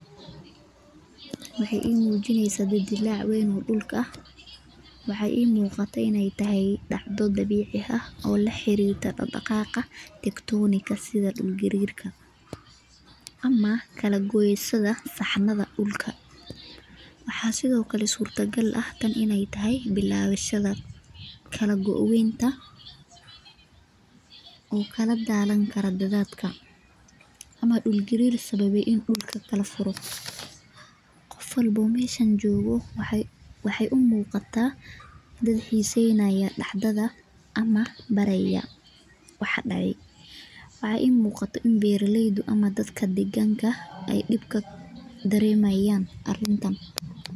Waxeey ii mujineysaa dildilaac weyn oo dhulka ah ,waxaa ii muuqato ineey tahay dhacdo dabiici ah ,oo la xarirta dhaqdhaqaaqa tarctonic ga sida dhul gariirka ama kala goosyada saxanada dhulka ,waxaa sidoo kale suurta gal ah tan ineey tahay bilaawashada kala go weynta uu kala daadan kara daadadka ama dhul gariir sababi inuu dhulka kala furo ,qof walboo meeshan joogo waxeey u muuqataa mid xiiseynaya dhacdada ama baaraya waxa dhacay ,waxaa ii muuqato in beeralaydu ama dadka deeganka ay dhibka daremayaan arrintan .